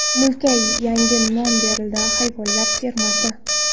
Mulkka yangi nom beriladi – Hayvonlar fermasi.